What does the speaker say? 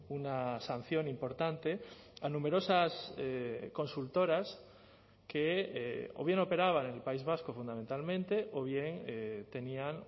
una sanción importante a numerosas consultoras que o bien operaban en el país vasco fundamentalmente o bien tenían